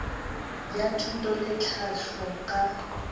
bja thuto le tlhahlo ka